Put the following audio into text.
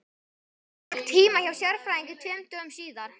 Hann fékk tíma hjá sérfræðingi tveimur dögum síðar.